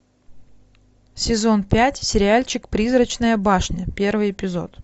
сезон пять сериальчик призрачная башня первый эпизод